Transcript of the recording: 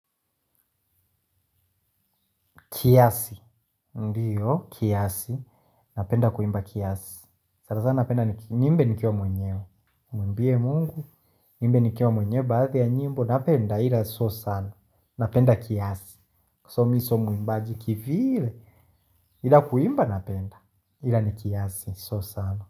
Kiasi. Ndiyo, kiasi. Napenda kuimba kiasi. Sanasana napenda niimbe nikiwa mwenyewe. Nimwimbie Mungu, niimbe nikiwa mwenye baadhi ya nyimbo. Napenda ila sio sana. Napenda kiasi. Kwa sababu mi sio mwimbaji kivile ila kuimba napenda, ila ni kiasi sio sana.